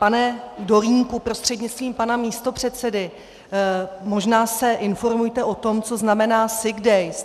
Pane Dolínku prostřednictvím pana místopředsedy, možná se informujte o tom, co znamená sick days.